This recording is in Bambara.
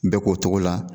Bɛɛ k'o togo la